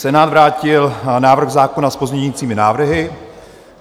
Senát vrátil návrh zákona s pozměňovacími návrhy.